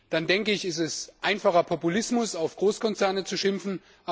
dann denke ich, ist es einfacher Populismus, auf Großkonzerne zu schimpfen.